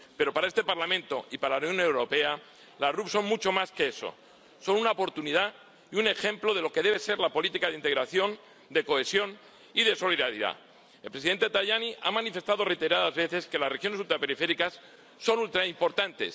Pero para este Parlamento y para la Unión Europea, las RUP son mucho más que eso son una oportunidad y un ejemplo de lo que debe ser la política de integración, de cohesión y de solidaridad. El presidente Tajani ha manifestado reiteradas veces que las regiones ultraperiféricas son ultraimportantes.